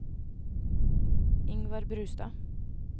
Ingvar Brustad